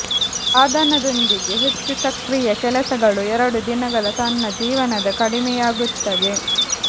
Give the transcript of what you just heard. ಸಾಧನದೊಂದಿಗೆ ಹೆಚ್ಚು ಸಕ್ರಿಯ ಕೆಲಸಗಳು ಎರಡು ದಿನಗಳ ತನ್ನ ಜೀವನದ ಕಡಿಮೆಯಾಗುತ್ತದೆ